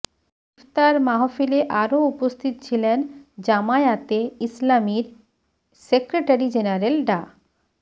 ইফতার মাহফিলে আরও উপস্থিত ছিলেন জামায়াতে ইসলামীর সেক্রেটারি জেনারেল ডা